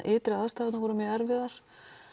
ytri aðstæðurnar voru erfiðar